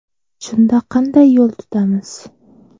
Shunda qanday yo‘l tutamiz?